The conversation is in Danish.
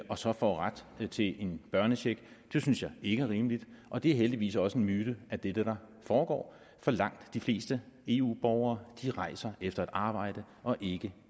og så får ret til en børnecheck det synes jeg ikke er rimeligt og det er heldigvis også en myte at det er det der foregår for langt de fleste eu borgere rejser efter et arbejde og ikke